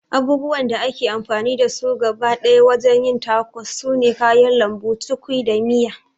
Abubuwan da ake amfani da su gaba ɗaya wajen yin tacos sune kayan lambu, cukwi da miya